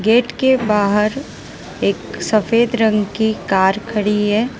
Gate के बाहर एक सफेद रंग की कार खड़ी है।